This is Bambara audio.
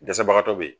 Dɛsɛbagatɔ bɛ yen